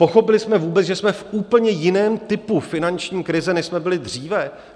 Pochopili jsme vůbec, že jsme v úplně jiném typu finanční krize, než jsme byli dříve?